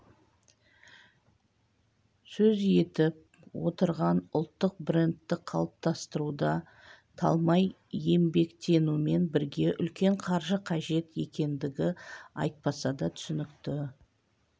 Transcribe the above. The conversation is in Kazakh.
сөз етіп отырған ұлттық брендті қалыптастыруда талмай еңбектенумен бірге үлкен қаржы қажет екендігі айтпаса да түсінікті